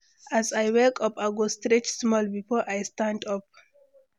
As I wake up, I go stretch small before I stand up.